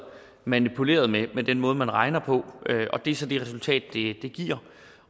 manipuleret med den måde man regner på og det er så det resultat det giver